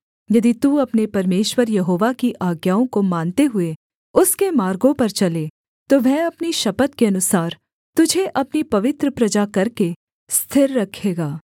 यदि तू अपने परमेश्वर यहोवा की आज्ञाओं को मानते हुए उसके मार्गों पर चले तो वह अपनी शपथ के अनुसार तुझे अपनी पवित्र प्रजा करके स्थिर रखेगा